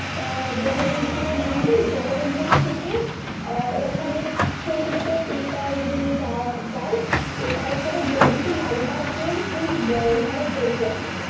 অ্যাঁ বহরমপুর এ নামবি বহরমপুর থেকে অ্যাঁ ওখানে ছোটো ছোটো তোর taker গুলো যাওয়া যায়, taker এ বলবি যে লাল বাগের তুই বা~ হাজার দুয়ারী যাবি